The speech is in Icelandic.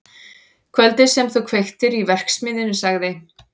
Kvöldið sem þú kveiktir í verksmiðjunni- sagði